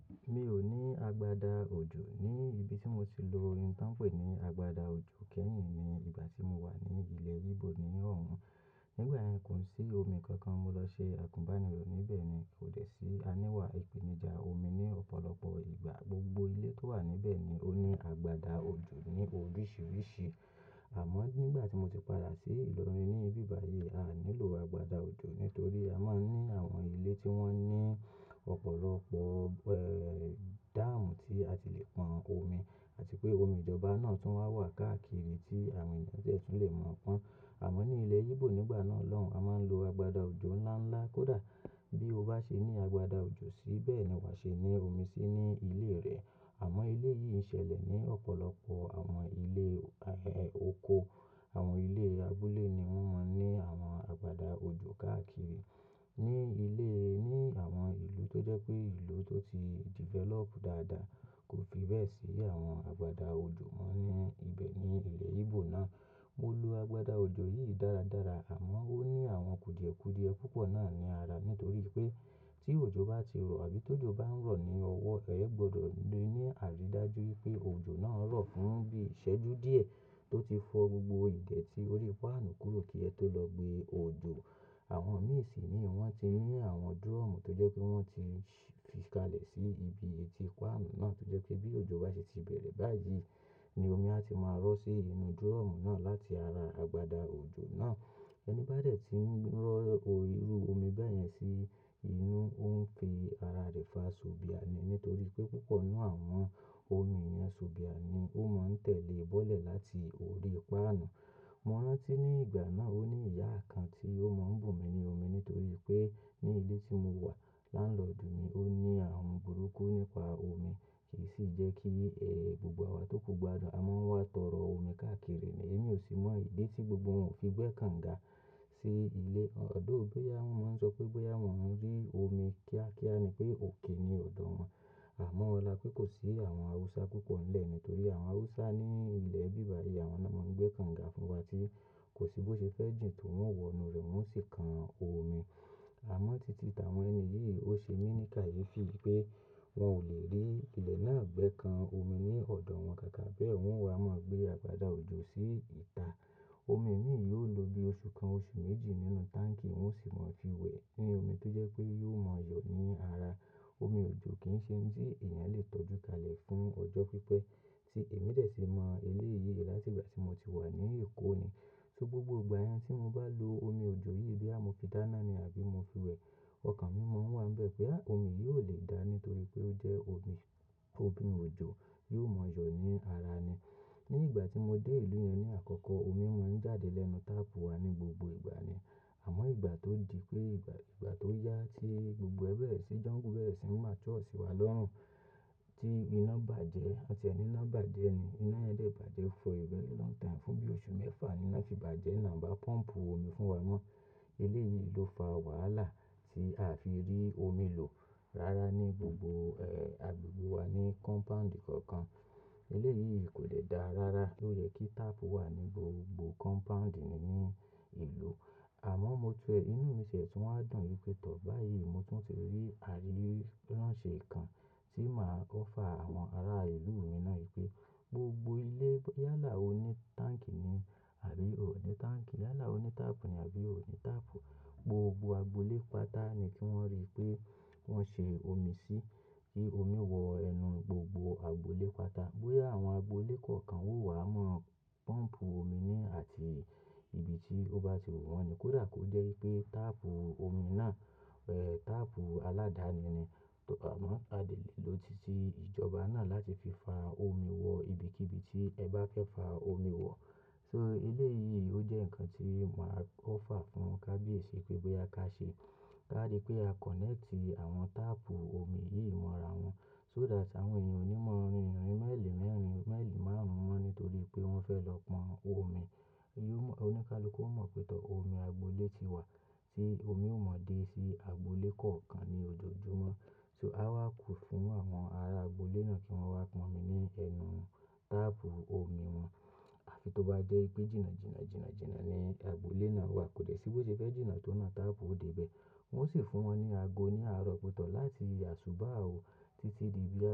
Mi ò ní agbada òjò ní ibi tí mo ti lò ohun t'on pè ní agbada òjò kẹ́yìn ní ìgbà tí mo wà ní ilẹ̀ Íbò ní óhùn. Nígbà yẹn kò sí omi kankan mo lọ ṣe àgúnbànirọ̀ níbẹ̀ ni kò dẹ́ sí a níwà ìpèníjà omi ní ọ̀pọ̀lọpọ̀ ìgbà gbogbo ilé tó wà níbẹ̀ ni ó ní agbada òjò ní oríṣìíríṣìí. Àmọ́ nígbà tí mo ti padà sí ìlorin ní ibi bà yìí, a nílò agbada òjò nítorí a máa ń ní àwọn ilé tí wọ́n ní ọ̀pọ̀lọpọ̀, dáàmù tí a ti lè pọn omi àti pé omi ìjọba náà tún wà káàkiri tí àwọn ènìyàn dẹ̀ tún lè mọ̀ pọ́n. Àmọ́ ní ilẹ̀ Íbò nígbà náà lọ́hun, a máa ń lo agbada òjò ńlá ńlá. Kódà bí o bá ṣe ní agbada òjò sí, bẹ́ẹ̀ ni wàá ṣe ní omi sí ní ilé rẹ. Àmọ́ ilé yìí ń ṣẹlẹ̀ ní ọ̀pọ̀lọpọ̀ àwọn ilé, ẹ́, oko, àwọn ilé abúlé ni wọ́n máa ń ní àwọn agbada òjò káàkiri. Ní ilé, ní àwọn ìlú tó jẹ́ pé ìlú tó ti develop dáadáa kò fi bẹ́ẹ̀ sí àwọn agbada òjò mọ́ ní ibẹ̀ ní ilẹ̀ Íbò náà. Mo lo agbada òjò yìí dáradára àmọ́ ó ní àwọn kùdìẹ̀kùdìẹ púpọ̀ náà ní ara nítorí pé tí òjò bá ti rọ̀ àbí tó jò bá ń rọ̀ ní ọwọ́, ẹ gbọdọ̀ ní àrídájú pé òjò náà rọ̀ fún bí ìṣẹ́jú díẹ̀ tó ti fọ́ gbogbo ìdẹ̀ tí ó rí páànù kúrò kí ẹ tó lọ gbé òjò. Àwọn mìí sì ní wọ́n ti rí àwọn dúrọ̀mù tó jẹ́ pé wọ́n ti fi kalẹ̀ sí ibi etí páànù náà tó jẹ́ pé bí òjò bá ṣe ti bẹ̀rẹ̀ báyìí ni omi á ti máa rọ́ sí inú dúrọ̀mù náà láti ara agbada òjò náà. Ẹni bá dẹ̀ tí ń rọ́ irú omi bẹ́ẹ̀ yẹn sí inú, ó ń fi ara rẹ̀ fa sobìà ni nítorí pé púpọ̀ nínú àwọn omi yẹn sobìà ni ó máa ń tẹ̀lé bọ́lẹ̀ láti orí páànù. Mo rántí ní ìgbà náà ó ní ìyá kan tí ó máa ń bù mi ní omi nítorí pé ní ilé tí mo wà laanlodu mi, ó ní àrùn burúkú nípa omi kì í sì jẹ́ kí, gbogbo wa tó kú gbadun. Àmọ́ wọ́n wá tọrọ omi káàkiri ni èmi ò sì mọ ìdí tí gbogbo wọn ò fi gbẹ́ kànga sí ilé. Although bóyá wọ́n máa ń sọ pé bóyá wọ́n ń rí omi kíákíá ni pé òkè ni ọ̀dọ̀ wọn. Àmọ́ ọlá pé kò sí àwọn Haúsá púpọ̀ ńlé ni nítorí àwọn Haúsá ní ilẹ̀ bíbà yìí, àwọn náà máa ń gbé kànga fún wa tí kò sí bó ṣe fẹ́ jìn tó wọ́n wọnú rẹ̀ wọ́n sì kan omi. Àmọ́ títí táwọn ẹni yìí ó ṣe mí ní kàyéfì pé wọn ò lè rí ilẹ̀ náà gbẹ́ kan omi ní ọ̀dọ̀ wọn káàkà bẹ́ẹ̀ wọ́n wá máa ń gbé agbada òjò sí ìta. Omi mìí yóò lo bí oṣù kan, oṣù méjì nínú táǹkì wọ́n sì máa ń fi wẹ̀ ní omi tó jẹ́ pé yóò máa yọ̀ ní ara. Omi òjò kì í ṣe ohun tí èèyàn lè tọ́jú kalẹ̀ fún ọjọ́ pípẹ́. Tí èmi dẹ̀ sì mọ ilé yìí láti ìgbà tí mo ti wà ní Èkó ni. So gbogbo ìgbà yẹn tí mo bá lo omi òjò yìí bí a mo fi dáná ni àbí mo fi wẹ̀, ọkàn mi máa ń wà níbẹ̀ pé omi yìí ò lè dá ní torí pé ó jẹ́ omi, omi òjò, yóò máa yọ̀ ní ara ni. Ní ìgbà tí mo dé ìlú yẹn ní àkọ́kọ́, omi máa ń jáde lẹ́nu táàpù wa ní gbogbo ìgbà ni. Àmọ́ ìgbà tó di pé ìgbà, ìgbà tó yá tí gbogbo ẹ́ bẹ̀rẹ̀ sí jọ́ǹgù bẹ̀rẹ̀ sì masure sí wa lọ́run. Tí iná bàjẹ́, ọ̀tí ẹni iná bàjẹ́ ni, iná yẹn dé bàjẹ́ for a very long time fún bí oṣù mẹ́fà ni iná fi bàjẹ́ náà ba pọ́ǹmpù omi fún wa mọ́. Ilé yìí ló fa wàhálà tí a fi rí omi lò rára ní gbogbo, agbègbè wa ní kọ́mpàǹdì kankan. Eléyìí kò dẹ̀ dá rára ló yẹ kí táàpù wà ní gbogbo kọ́mpàǹdì nínú ìlú. Àmọ́ mo tẹ̀ẹ́ inú mi ṣẹ̀ tún wá dùn yí pé tọ̀ báyìí mo tún ti rí àríyé ránṣe kan tí máa offer àwọn ará ìlú mi náà yí pé gbogbo ilé yálà òní táǹkì ni àbí òní táǹkì, yálà òní táàpù ni àbí òní táàpù. Gbogbo agbolé pata ni kí wọ́n rí pé wọ́n ṣe omi sí kí omi wọ ẹnu gbogbo agbolé pata. Bóyá àwọn agbolé kọ̀ọ̀kan ó wá máa pọ́ǹmpù omi ni àti ibi tí ó bá ti wù wọ́n ni kódà kó jẹ́ pé táàpù omi náà, táàpù aláàdáni ni. Àmọ́ a lè lò títí ìjọba náà láti fi fa omi wọ ibikíbi tí ẹ bá fẹ́ fa omi wọ̀. So ilé yìí ó jẹ́ ǹkan tí màá offer fún kábíyèsí pé bóyá ká ṣe. Bá di pé a kọ̀nẹ́ẹ̀tì àwọn táàpù omi yìí mọ́ra wọn so that àwọn èèyàn ò ní máa rin ìrìn maili mẹ́rin, mailiì márùn-ún mọ́ nítorí pé wọ́n fẹ́ lọ pọn omi. Yóò mọ̀, oníkálùú kó mọ̀ pé tọ̀ omi agbolé ti wà tí omi ò mọ̀ dé sí agbolé kọ̀ọ̀kan ní ojoojúmọ́. So a wá kù fún àwọn ará agbolé náà kí wọ́n wá pọn omi ní ẹnu táàpù omi wọn. Àfi tó bá jẹ́ pé jìnnà jìnnà, jìnnà jìnnà ni agbolé náà wà kò dẹ́ sí bó ṣe fẹ́ jìnnà tó na táàpù dé ibẹ̀. Wọ́n sì fún wọn ní ago ní arọ pé tọ̀ láti aṣubà o títí di bí a ṣe.